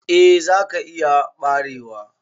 Eh za ka iya barewa.